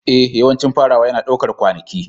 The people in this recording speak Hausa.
Ee, yawancin farawa yana ɗaukar kwanaki.